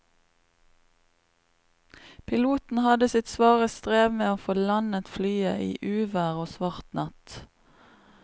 Piloten hadde sitt svare strev med å få landet flyet i uvær og svart natt.